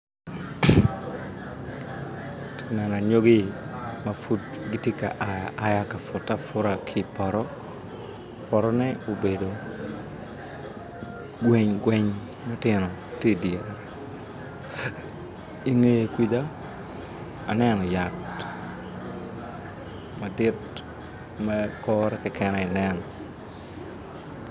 Anyogi ma pud gitye ka a aya ka pute aputa ki ipoto potone obedo gweng gweng matino tye idyere ingeye kuca aneno yat madit ma kore Keken aye nen